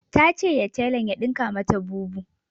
Ta ce ya tailan ya dinka mata bubu